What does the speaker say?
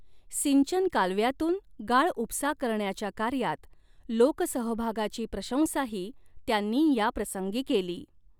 सिंचन कालव्यातून गाळउपसा करण्याच्या कार्यात लोकसहभागाची प्रशंसाही त्यांनी याप्रसंगी केली.